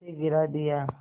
उसे गिरा दिया